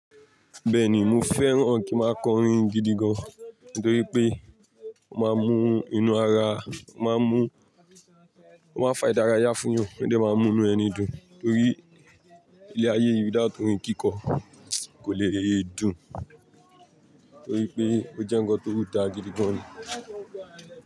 Bẹ́ẹ̀ni, mo fẹ́ràn kí n máa kọ orin gidi gan-an nítorí pé o máa ń mú inú ara, o máa ń mú, o máa ń fa ìdárayá fún eeyan, ó de máa n mú inú ẹni dùn torí ilé ayé yì without orin kíkọ kò lè dùn torí pé ó jẹ́ ńnkan tó dáa gidi gan-an.